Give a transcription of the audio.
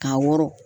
Ka wɔrɔn